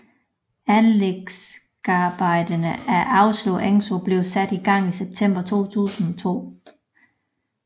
Anlægsarbejderne af Årslev Engsø blev sat i gang i september 2002